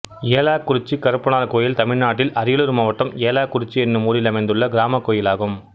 ஏலாக்குறிச்சி கருப்பனார் கோயில் தமிழ்நாட்டில் அரியலூர் மாவட்டம் ஏலாக்குறிச்சி என்னும் ஊரில் அமைந்துள்ள கிராமக் கோயிலாகும்